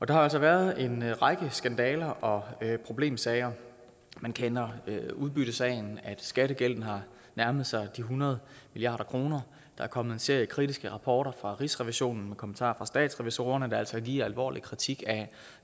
der har altså været en række skandaler og problemsager man kender til udbyttesagen at skattegælden har nærmet sig de hundrede milliard kroner der er kommet en serie kritiske rapporter fra rigsrevisionen og kommentarer fra statsrevisorerne der altså giver alvorlig kritik af